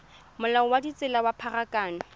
molao wa ditsela wa pharakano